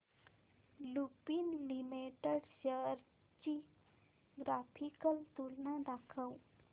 Lupin limited shares ची graphical तुलना दाखव